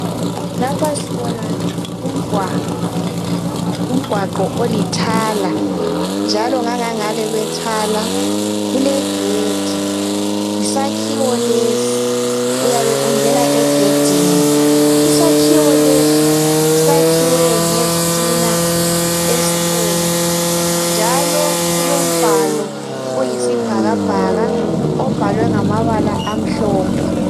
Lapha sibona umgwaqo, umgwaqo oli thala. Njalo ngangangale kwe thala kulegedi. Yisakhiwo lesi, uyabe ungena egedini. Isakhiwo lesi, sakhiwe ngezitina ezibomvu, njalo kulombalo oyisibhakabhaka, obhalwe ngamabala amhlophe.